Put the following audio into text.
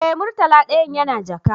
Eh, murtala dayan yana jaka